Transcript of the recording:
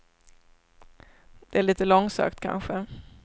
Det är lite långsökt, kanske.